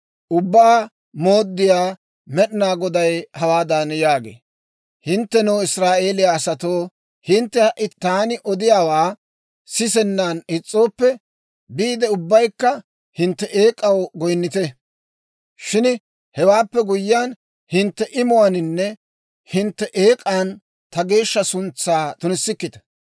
«Ubbaa Mooddiyaa Med'inaa Goday hawaadan yaagee; ‹Hinttenoo, Israa'eeliyaa asatoo, hintte ha"i taani odiyaawaa sisennan is's'ooppe, biide ubbaykka hintte eek'aw goyinnite. Shin hewaappe guyyiyaan, hintte imuwaaninne hintte eek'an ta geeshsha suntsaa tunissikkita.